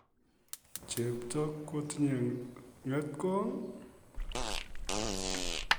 Chepto kotindo ng'etkong'?